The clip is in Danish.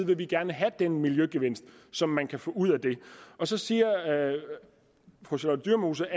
vil vi gerne have den miljøgevinst som man kan få ud af det så siger fru charlotte dyremose